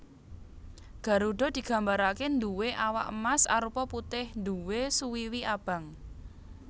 Garudha digambaraké nduwé awak emas arupa putih nduwé suwiwi abang